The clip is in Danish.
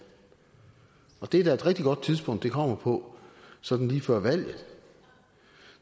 og det er da et rigtig godt tidspunkt det kommer på sådan lige før valget